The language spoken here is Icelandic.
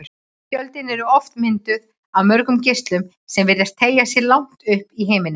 Tjöldin eru oft mynduð af mörgum geislum sem virðast teygja sig langt upp í himininn.